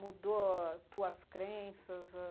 Mudou as tuas crenças? ãh